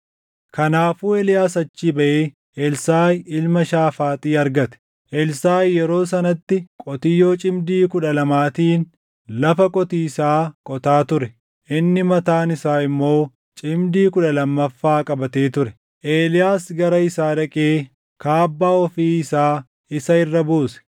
Kanaafuu Eeliyaas achii baʼee Elsaaʼi ilma Shaafaaxi argate. Elsaaʼi yeroo sanatti qotiyyoo cimdii kudha lamaatiin lafa qotiisaa qotaa ture; inni mataan isaa immoo cimdii kudha lammaffaa qabatee ture. Eeliyaas gara isaa dhaqee kaabbaa ofii isaa isa irra buuse.